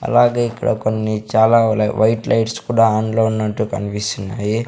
అలాగే ఇక్కడ కొన్ని చాలా ల వైట్ లైట్స్ కూడా ఆన్ లో ఉన్నట్టు కన్పిస్తున్నాయి.